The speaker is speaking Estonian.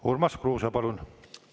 Urmas Kruuse, palun!